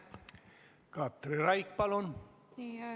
Katri Raik, palun!